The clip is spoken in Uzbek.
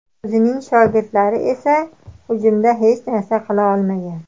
O‘zining shogirdlari esa hujumda hech narsa qila olmagan.